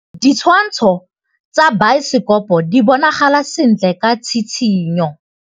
Ditshwantshô tsa biosekopo di bonagala sentle ka tshitshinyô.